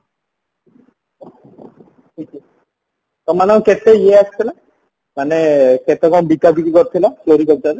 ତମ ମାନଙ୍କ କେତେ ଇଏ ଆସିଥିଲା ମାନେ କେତେ କଣ ବିକା ବିକି କରିଥିଲା floricultureରେ